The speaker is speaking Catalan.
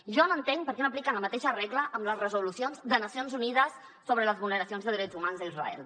jo no entenc per què no apliquen la mateixa regla amb les resolucions de nacions unides sobre les vulneracions de drets humans d’israel